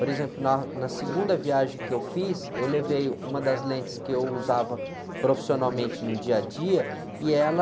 Por exemplo, na, na segunda viagem que eu fiz, eu levei uma das lentes que eu usava profissionalmente no dia a dia e ela...